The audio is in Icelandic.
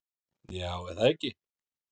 Já, er það ekki?